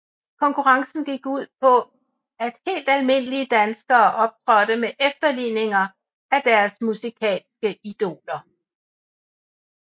Konkurrencen gik ud på at helt almindelige danskere optrådte med efterligninger af deres musikalske idoler